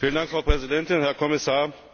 Frau Präsidentin, Herr Kommissar!